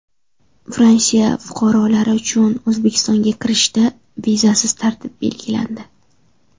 Fransiya fuqarolari uchun O‘zbekistonga kirishda vizasiz tartib belgilandi.